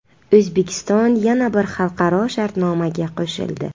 O‘zbekiston yana bir xalqaro shartnomaga qo‘shildi.